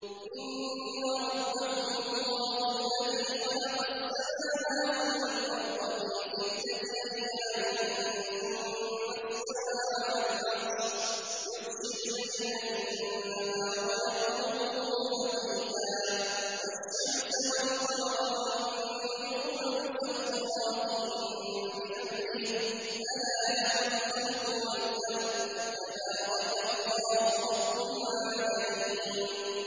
إِنَّ رَبَّكُمُ اللَّهُ الَّذِي خَلَقَ السَّمَاوَاتِ وَالْأَرْضَ فِي سِتَّةِ أَيَّامٍ ثُمَّ اسْتَوَىٰ عَلَى الْعَرْشِ يُغْشِي اللَّيْلَ النَّهَارَ يَطْلُبُهُ حَثِيثًا وَالشَّمْسَ وَالْقَمَرَ وَالنُّجُومَ مُسَخَّرَاتٍ بِأَمْرِهِ ۗ أَلَا لَهُ الْخَلْقُ وَالْأَمْرُ ۗ تَبَارَكَ اللَّهُ رَبُّ الْعَالَمِينَ